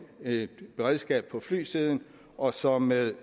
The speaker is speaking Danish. et beredskab på flysiden og så med